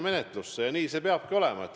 Ja nii see peabki olema.